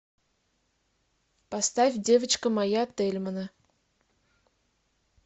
поставь девочка моя тельмана